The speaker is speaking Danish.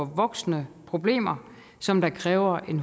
voksende problemer som kræver